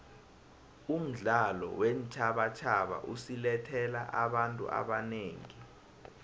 umdlalo weentjhabatjhaba usilethele abantu abanengi